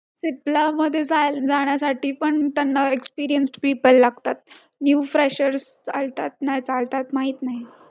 पडायच्या आधी एक Call येतो की बाबा आता तुम्हाला आम्ही पैसे टाकणार आहोत एक् sign करून जावा तिथून दोन ते तीन दिवसाला account पैसे पाठव~.